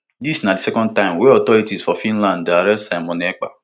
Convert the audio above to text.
dis na di second time wey authorities for finland dey arrest simon ekpa